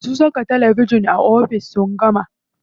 Masu saka talabijin a ofis sun gama.